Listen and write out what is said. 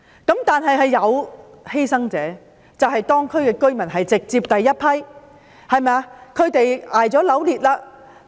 不過，當中亦有一些犧牲者，當區居民就是直接的犧牲者。